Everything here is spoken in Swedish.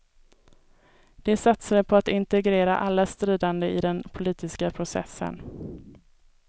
De satsade på att integrera alla stridande i den politiska processen.